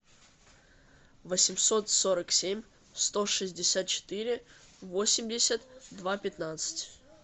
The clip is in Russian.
восемьсот сорок семь сто шестьдесят четыре восемьдесят два пятнадцать